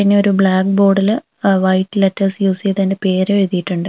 പിന്നെ ഒരു ബ്ലാക്ക് ബോർഡിൽ അ് വൈറ്റ് ലെറ്റേഴ്സ് യൂസ് ചെയ്ത് അതിൻറെ പേരും എഴുതിയിട്ടുണ്ട്.